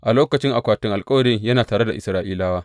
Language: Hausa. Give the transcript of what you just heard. A lokacin akwatin alkawarin yana tare da Isra’ilawa.